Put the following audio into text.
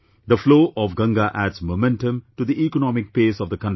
The flow of Ganga adds momentum to the economic pace of the country